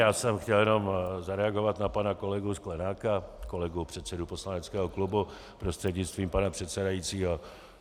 Já jsem chtěl jenom zareagovat na pana kolegu Sklenáka, kolegu předsedu poslaneckého klubu, prostřednictvím pana předsedajícího.